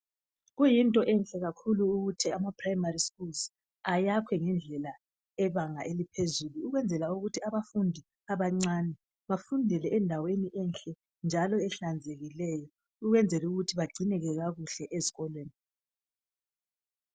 Kuyinto enhle kakhulu ukuthi amaprimary schools ayakhwe ngedlela ebanga eliphezulu ukwenzela ukuthi abafundi abancane bafundele indaweni enhle njalo ahlazekileyo ukwenzela ukuthi bagcineke kakuhle ezikolweni.